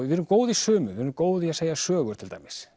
við erum góð í sumu við erum góð í að segja sögur til dæmis